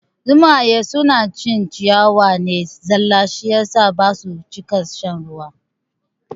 Zomaye suna cin ciyawa ne zalla shi yasa basu cika shan ruwa ba